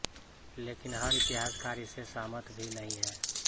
लेकिन हर इतिहासकार इससे सहमत भी नहीं हैं